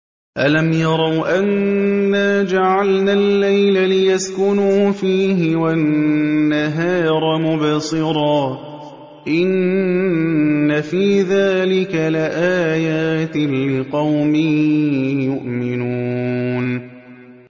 أَلَمْ يَرَوْا أَنَّا جَعَلْنَا اللَّيْلَ لِيَسْكُنُوا فِيهِ وَالنَّهَارَ مُبْصِرًا ۚ إِنَّ فِي ذَٰلِكَ لَآيَاتٍ لِّقَوْمٍ يُؤْمِنُونَ